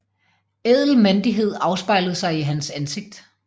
Ædel mandighed afspejlede sig i hans ansigt